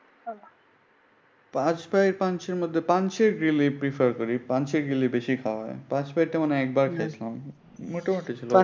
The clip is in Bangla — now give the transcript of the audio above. পাস ভাই পানসির মধ্যে পানসির গ্রিল আমি prefer করি। পানসি গ্রিল বেশি খাওয়া হয়। পাসভাই টা মনে হয় একবার খাইছিলাম। মোটামুটি ছিল।